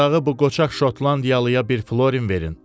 Uzağı bu qoçaq şotlandiyalıya bir florin verin,